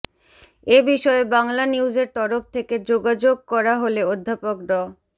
এ বিষয়ে বাংলানিউজের তরফ থেকে যোগাযোগ করা হলে অধ্যাপক ড